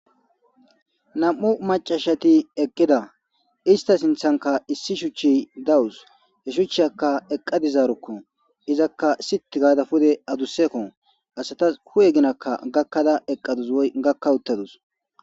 nam7u macashati eqqida ista sinthanka issi shuchchi dawus he shuchchiyaka eqqa dizaarukko izakka sit gaada pude adussekko asatas hu7e ginakka gakkada eqqadus woy gakka uttadus